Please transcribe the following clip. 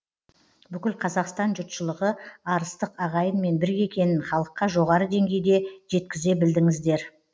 бүкіл қазақстан жұртшылығы арыстық ағайынмен бірге екенін халыққа жоғары деңгейде жеткізе білдіңіздер